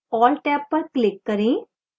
all tab पर click करें